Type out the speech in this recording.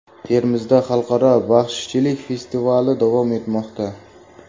Termizda xalqaro baxshichilik festivali davom etmoqda.